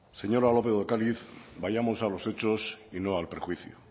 señora lópez de ocariz vayamos a los hechos y no al perjuicio